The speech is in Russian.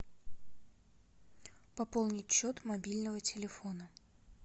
пополнить счет мобильного телефона